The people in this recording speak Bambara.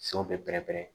Fɛnw bɛ pɛrɛn-pɛrɛ